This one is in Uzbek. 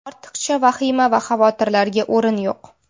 Ortiqcha vahima va xavotirlarga o‘rin yo‘q.